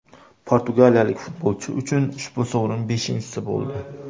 Portugaliyalik futbolchi uchun ushbu sovrin beshinchisi bo‘ldi.